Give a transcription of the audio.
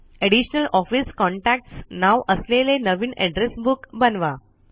additional office contacts नाव असलेले नवीन एड्रेस बुक बनवा